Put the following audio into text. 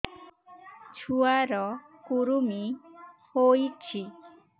ଛୁଆ ର କୁରୁମି ହୋଇଛି